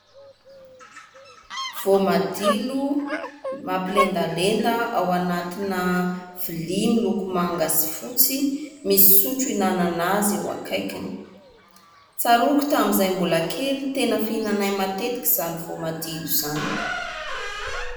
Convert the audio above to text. Voamadilo mampilendalenda ao anatina lovia miloko manga sy fotsy misy sotro ihinanana azy eo akaikiny. Tsaroako tamin'izay mbola kely, tena fihinanay matetika izany voamadilo izany.